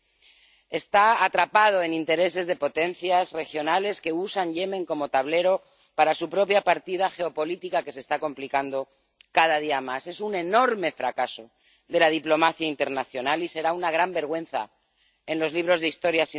El país está atrapado en intereses de potencias regionales que usan Yemen como tablero para su propia partida geopolítica, que se está complicando cada día más. Es un enorme fracaso de la diplomacia internacional y será una gran vergüenza en los libros de Historia.